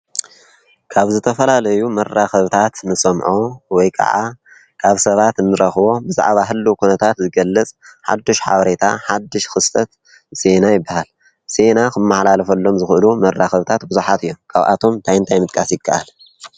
ካብ ዝተፈላለዩ መራኽብታት ንሰምዖ ወይ ከዓ ካብ ሰባት እንረኽቦ ብዛዕባ ሕሉው ኩነታት ዝገለፅ ሓድሽ ሓበሬታ ሓድሽ ክስተት ዜና ይበሃል፡፡ ዜና ክመሕላልፈሎም ዝኽእሉ መራኽብታት ብዙሓት እዮም፡፡ ካብኣቶም እንታይ እንታይ ምጥቃስ ይከኣል?